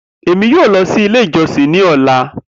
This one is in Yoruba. Emi yoo lọ si ile ijọsin ni ọla.